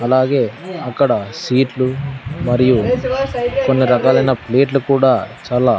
అలాగే అక్కడ సీట్లు మరియు కొన్ని రకాలైన ప్లేట్లు కూడా చాలా--